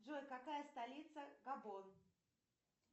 джой какая столица габон